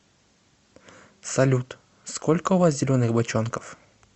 салют сколько у вас зеленых бочонков